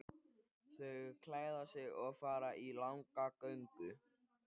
Þau klæða sig og fara í langa göngu.